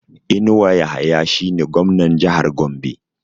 Inuwa Yahaya shi ne Gwamnan Jahar Gombe